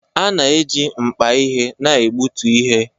A na-eji mkpa ihe na-egbutu ihe